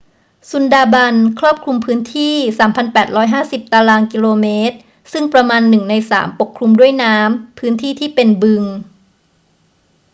ซุนดาร์บันส์ครอบคลุมพื้นที่ 3,850 ตร.กม. ซึ่งประมาณหนึ่งในสามปกคลุมด้วยน้ำ/พื้นที่ที่เป็นบึง